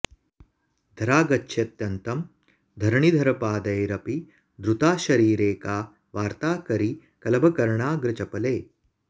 धरा गच्छत्यन्तं धरणिधरपादैरपि धृता शरीरे का वार्ता करिकलभकर्णाग्रचपले